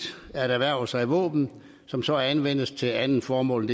at erhverve sig våben som så anvendes til et andet formål